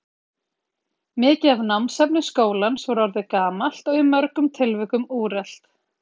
Mikið af námsefni skólans var orðið gamalt og í mörgum tilvikum úrelt.